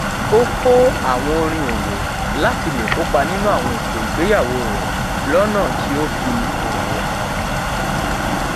ó kó àwọn orin òwò láti lè kópa nínú àwọn ètò ìgbéyàwó rè lónà tí ó fi òwò hàn